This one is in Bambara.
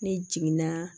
Ne jiginna